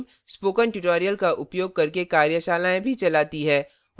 spoken tutorials का उपयोग करके कार्यशालाएँ भी चलाती है